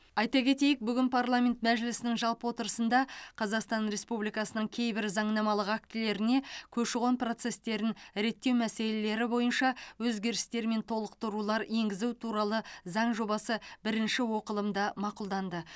айта кетейік бүгін парламент мәжілісінің жалпы отырысында қазақстан республикасының кейбір заңнамалық актілеріне көші қон процестерін реттеу мәселелері бойынша өзгерістер мен толықтырулар енгізу туралы заң жобасы бірінші оқылымда мақұлданды